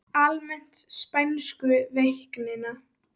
Almennt um spænsku veikina